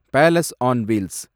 palace on wheels